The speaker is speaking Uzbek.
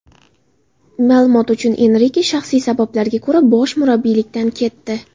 Ma’lumot uchun, Enrike shaxsiy sabablarga ko‘ra bosh murabbiylikdan ketdi.